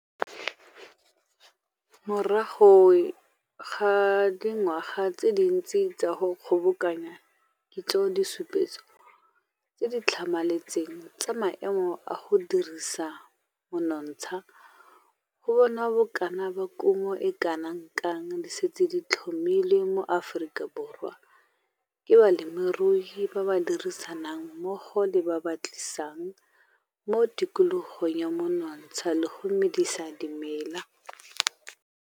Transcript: Morago ga dingwaga tse dintsi tsa go kgobokanya kitso disupetso tse di tlhamaletseng tsa maemo a go dirisa monontsha go bona bokana ba kumo e kana kang di setse di tlhomilwe mo Afrikaborwa ke balemirui ba ba dirisanang mmogo le ba ba batlisisang mo tikologong ya monontsha le go medisa dimela.